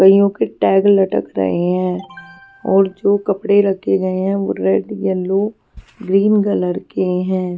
गइयों के टैग लटक रहे हैं और जो कपड़े रखे गए हैं वो रेड येलो ग्रीन कलर के हैं.